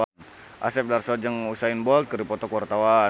Asep Darso jeung Usain Bolt keur dipoto ku wartawan